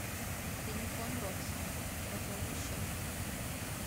телефон родственника пополнить счет